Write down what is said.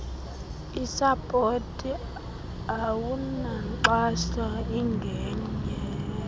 isapoti awunankxaso ingenye